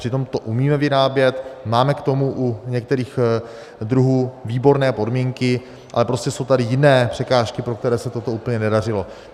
Přitom to umíme vyrábět, máme k tomu u některých druhů výborné podmínky, ale prostě jsou tady jiné překážky, pro které se toto úplně nedařilo.